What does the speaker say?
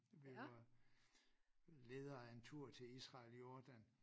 Vi var ledere af en tur til Israel Jordan